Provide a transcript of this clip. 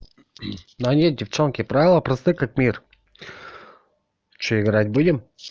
да нет девчонки правила просты как мир что играть будем